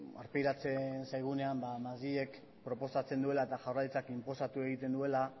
aurpegiratzen zaigunean ba madrilek proposatzen duela eta jaurlaritzak inposatu egiten duela